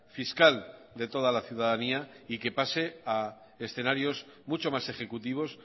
fiscal de toda la ciudadanía y que pase a escenarios mucho más ejecutivos